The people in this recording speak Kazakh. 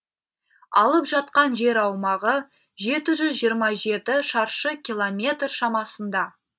алып жатқан жер аумағы жеті жүз жиырма жеті шаршы километр шамасында